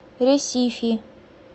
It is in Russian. ресифи